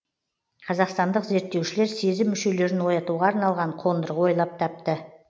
қазақстандық зерттеушілер сезім мүшелерін оятуға арналған қондырғы ойлап тапты